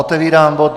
Otevírám bod